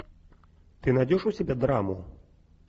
ты найдешь у себя драму